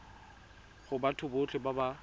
go batho botlhe ba ba